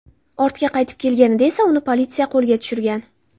Ortiga qaytib kelganida esa uni politsiya qo‘lga tushirgan.